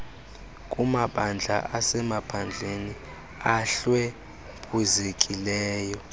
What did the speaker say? kumabandla asemaphandleni ahlwempuzekileyo